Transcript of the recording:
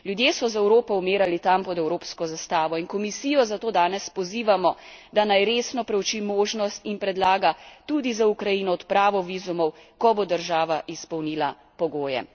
Ljudje so za Evropo umirali tam pod evropsko zastavo in Komisijo zato danes pozivamo, da naj resno preuči možnost in predlaga tudi za Ukrajino odpravo vizumov, ko bo država izpolnila pogoje.